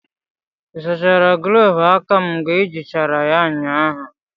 ị sachara gloovu aka m mgbe i jirichara ya ụnyahụ?